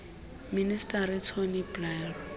minister tony blair